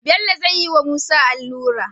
Bello zayi wa musa alura